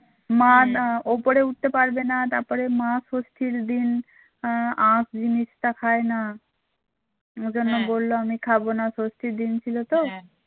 মা না ওপরে উঠতে পারবে না তারপরে মা ষষ্ঠীর দিন আখ জিনিসটা খায় না ও জন্য বললো আমি খাবো না ষষ্ঠীর দিন ছিল তো?